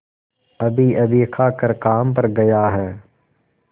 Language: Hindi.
अभीअभी खाकर काम पर गया है